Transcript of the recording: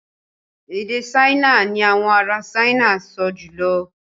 Èdè Ṣáínà ni àwọn ará Ṣáínà ń sọ jùlọ